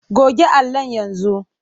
Goge allon yanzu.